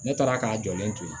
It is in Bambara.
Ne taara k'a jɔlen to ye